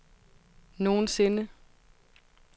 nogensinde